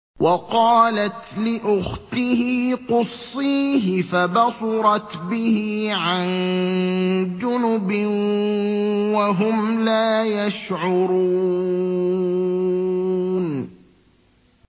وَقَالَتْ لِأُخْتِهِ قُصِّيهِ ۖ فَبَصُرَتْ بِهِ عَن جُنُبٍ وَهُمْ لَا يَشْعُرُونَ